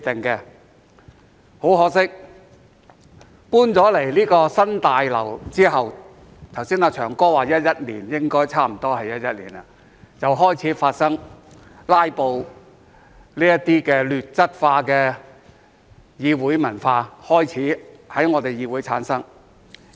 很可惜，搬進新大樓後——"祥哥"剛才說是2011年，應該也是2011年——"拉布"這些劣質化的議會文化開始在本議會產生。